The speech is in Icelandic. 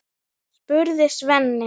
spurði Svenni.